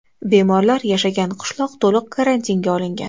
Bemorlar yashagan qishloq to‘liq karantinga olingan.